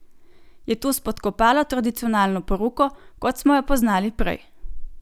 Je to spodkopalo tradicionalno poroko, kot smo jo poznali prej?